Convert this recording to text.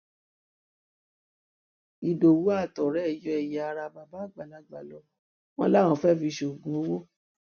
ìdòwú àtọrẹ ẹ yọ ẹyà ara bàbá àgbàlagbà lọ wọn láwọn fẹẹ fi ṣoògùn owó